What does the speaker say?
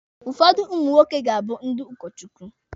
Ụfọdụ ụmụ nwoke ga-abụ ndị ụkọ Chukwu.